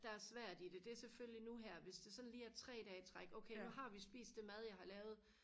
der er svært i det det er selvfølgelig nu her hvis det sådan lige er tre dage i træk okay nu har vi spist det mad jeg har lavet